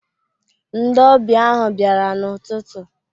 Ndị ọbịa ahụ bịara n'ututu.